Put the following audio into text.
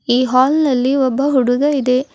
ಈ ಹಾಲ್ ನಲ್ಲಿ ಒಬ್ಬ ಹುಡುಗ ಇದೆ.